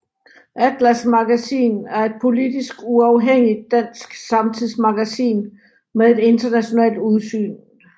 ATLAS Magasin er et politisk uafhængigt dansk samtidsmagasin med et internationalt udsyn